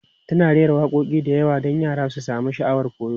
Tana rera waƙoƙi da yawa don yara su sami sha'awar koyo.